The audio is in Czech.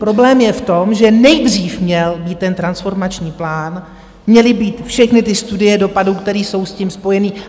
Problém je v tom, že nejdřív měl být ten transformační plán, měly být všechny ty studie dopadů, které jsou s tím spojené.